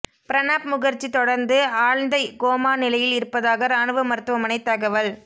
பிரணாப் முகர்ஜி தொடர்ந்து ஆழ்ந்த கோமா நிலையில் இருப்பதாக ராணுவ மருத்துவமனை தகவல்